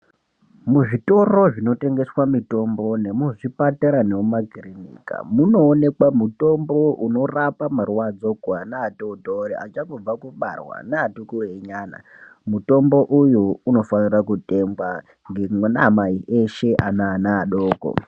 Muzvitoro zvinotengeswa mitombo memuzvipatara zvemumakirinika munoonekwa mitombo unorapa marwadzo evananvatotori nevachangobva kubarwa nevati kurei kurei mutombo uyu unofana kutengwa memai veshe nevana vadoko.